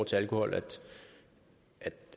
til alkohol at